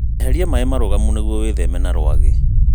Eheria maĩ marũgamu nĩguo wĩtheme rwagĩ.